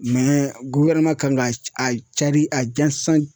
kan ka a cari a dilan san.